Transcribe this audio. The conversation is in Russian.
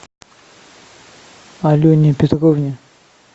алене петровне